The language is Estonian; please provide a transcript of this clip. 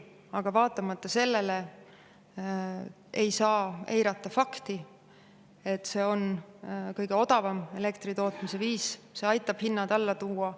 Aga vaatamata sellele ei saa eirata fakti, et see on kõige odavam elektri tootmise viis, see aitab hinnad alla tuua.